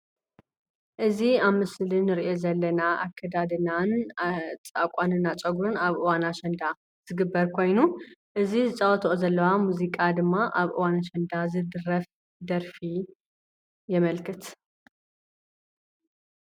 እዚ ኣብ ምስሊ እንርእዮ ዘለና ኣከዳድናን ኣቋንና ፀጉርን ኣብ እዋን ኣሸንዳ ዝግበር ኮይኑ እዚ ዝፃወተኦ ዘለዋ ሙዚቃ ድማ ኣብ እዋን ኣሸንዳ ዝድረፍ ደርፊ የመልክት ።